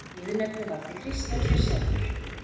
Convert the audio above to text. Viðurnefnið valdi Kristján sér sjálfur.